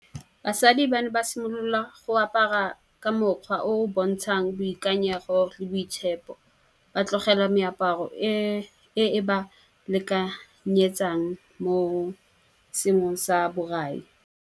Basadi ba ne ba simolola go apara ka mokgwa o o bontshang boikanyego le boitshepo. Ba tlogela meaparo e e ba lekanyetsang mo sengwe sa borai.